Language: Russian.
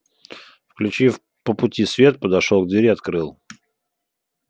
включив по пути свет подошёл к двери открыл